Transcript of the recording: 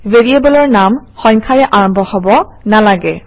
ভেৰিয়েবলৰ নাম সংখ্যাৰে আৰম্ভ হব নালাগে